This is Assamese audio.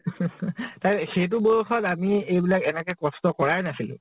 তেকে। সেইতো বয়স ত আমি এইবিলাক এনেকে কষ্ট কৰায়ে নাছিলো